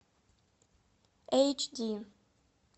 эйч ди